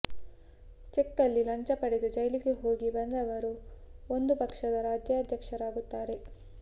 ಚೆಕ್ಕಲ್ಲಿ ಲಂಚ ಪಡೆದು ಜೈಲಿಗೆ ಹೋಗಿ ಬಂದವರು ಒಂದು ಪಕ್ಷದ ರಾಜ್ಯಾಧ್ಯಕ್ಷರಾಗುತ್ತಾರೆ